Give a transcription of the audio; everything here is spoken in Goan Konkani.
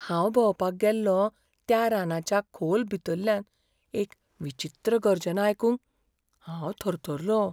हांव भोंवपाक गेल्लों त्या रानाच्या खोल भितरल्यान एक विचित्र गर्जना आयकून हांव थरथरलों.